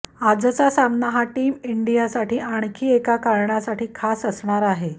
आजचा सामना हा टीम इंडियासाठी आणखी एका कारणासाठी खास असणार आहे